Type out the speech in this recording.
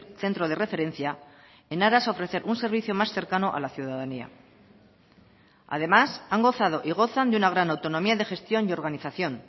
centro de referencia en aras a ofrecer un servicio más cercano a la ciudadanía además han gozado y gozan de una gran autonomía de gestión y organización